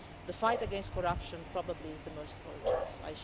The fight against corruption is probably the most urgent issue.